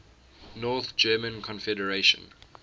north german confederation